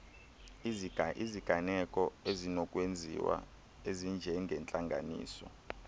iziganeko ezinokwenziwa ezinjengeentlanganiso